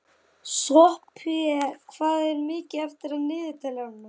Sophie, hvað er mikið eftir af niðurteljaranum?